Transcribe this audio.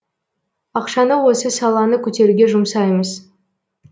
ақшаны осы саланы көтеруге жұмсаймыз